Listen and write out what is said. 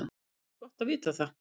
Það er gott að vita það.